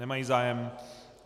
Nemají zájem.